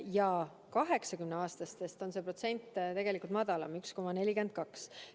Üle 80‑aastaste puhul on see protsent tegelikult madalam: 1,42.